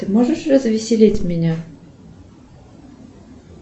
ты можешь развеселить меня